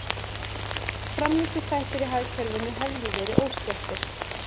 Framleiðsluþættir í hagkerfinu hefðu verið óskertir